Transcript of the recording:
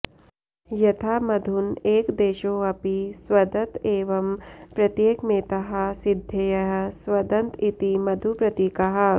यथा मधुन एकदेशोऽपि स्वदत एवं प्रत्येकमेताः सिद्धयः स्वदन्त इति मधुप्रतीकाः